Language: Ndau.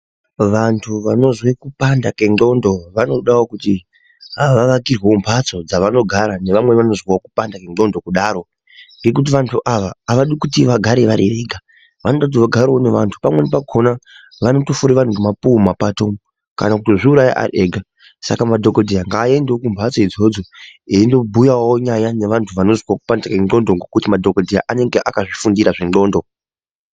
Vantu vanozwe kupanda kwengenxlondo vanodawo kuti vavakirwe mhatso dzavanogara nevamwe vanozwawo kupanda kwenxlondo kudaro ngekuti vantu ava avadi kuti vagare varivega vanototivo vagarewo nevantu pamweni pakona vanotofure vanhu nemapuwe mumapato umwo kana kuzviuraya ari ega saka madhokodheya ngaendewo kumhatso idzodzo eindobhuyawo nyaya nevantu vanozwe kupanda kwenxlondo ngekuti madhokodheya anenge akazvifundira zvenxlondo.